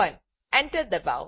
Enter enter દબાવો